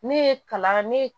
Ne ye kalan ne ye